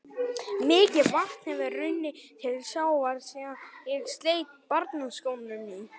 Mikið vatn hefur runnið til sjávar síðan ég sleit barnsskónum í